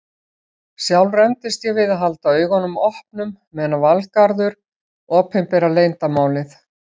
Sjálf rembist ég við að halda augunum opnum meðan Valgarður opinberar leyndarmálið.